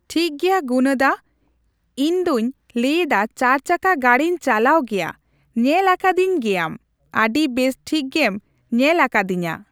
ᱴᱷᱤᱠᱜᱮᱭᱟ ᱜᱩᱱᱟ ᱫᱟ ᱤᱧᱫᱚᱧ ᱞᱟᱹᱭᱮᱫᱟ ᱪᱟᱨᱪᱟᱠᱟ ᱜᱟᱹᱰᱤᱧ ᱪᱟᱞᱟᱣ ᱜᱮᱭᱟ ᱧᱮᱞ ᱟᱠᱟᱫᱤᱧ ᱜᱮᱭᱟᱢ ᱟᱹᱰᱤ ᱵᱮᱥ ᱴᱷᱤᱠᱜᱮᱢ ᱧᱮᱞ ᱟᱠᱟᱫᱤᱧᱟ